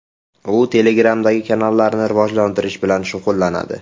U Telegram’dagi kanallarni rivojlantirish bilan shug‘ullanadi.